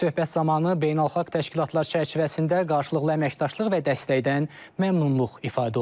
Söhbət zamanı beynəlxalq təşkilatlar çərçivəsində qarşılıqlı əməkdaşlıq və dəstəkdən məmnunluq ifadə olunub.